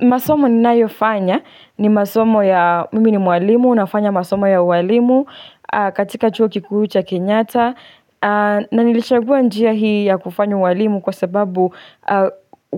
Masomo ninayofanya, ni masomo ya, mimi ni mwalimu, nafanya masomo ya uwalimu katika chuo kikuu cha Kenyatta na nilichagua njia hii ya kufanya uwalimu kwa sababu